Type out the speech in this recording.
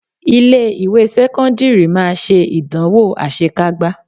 Ilé ìwé sẹ́kọ́ńdírì máa ṣe ìdánwò asekágbá